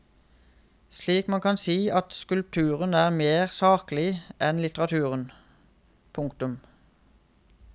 Slik kan man si at skulpturen er mer saklig enn litteraturen. punktum